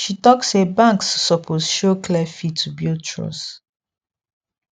she talk say banks suppose show clear fee to build trust